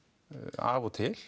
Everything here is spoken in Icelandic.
af og til